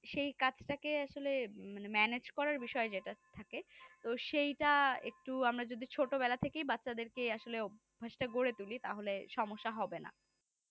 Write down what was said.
সেই কাজটাকে আসলে, মানে ম্যানেজ করার বিষয় যেটা থাকে তো সেটা একটু আমরা যদি ছোটবেলা থেকেই বাচ্চা দেরকে আসলে অভ্যাসটা গড়ে তুলি তাহলে সমস্যা হবে না